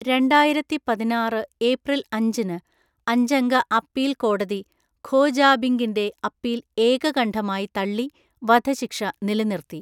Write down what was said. രണ്ടായിരത്തിപതിനാറ് April അഞ്ചിന്, അഞ്ചംഗ appeal കോടതി ഖോ ജാബിംഗിന്റെ അപ്പീൽ ഏകകണ്ഠമായി തള്ളി വധശിക്ഷ നിലനിർത്തി.